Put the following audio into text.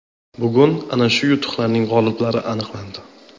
Bugun ana shu yutuqlarning g‘oliblari aniqlandi.